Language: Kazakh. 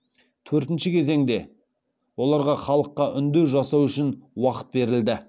төртінші кезеңде оларға халыққа үндеу жасау үшін уақыт берілді